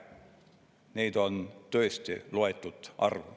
Neid on tõesti loetud arv.